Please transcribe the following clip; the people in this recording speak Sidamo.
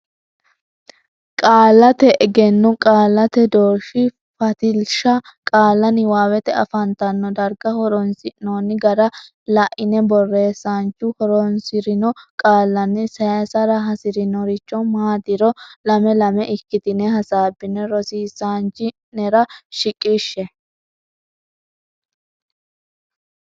Qaallate Egenno Qaallate Doorshi Fatilsha qaalla niwaawete afantanno darga horonsi noonni gara la ine borreessaanchu horonsi rino qaallanni saysara hasi rinorichi maatiro lame lame ikkitine hasaabbine rosiisaanchi o nera shiqishshe.